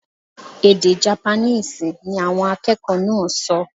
Èdè Japaníìsì ni awọn akẹkọ naa so